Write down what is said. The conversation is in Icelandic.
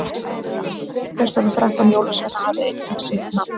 hver þessara þrettán jólasveina hafði einnig sitt nafn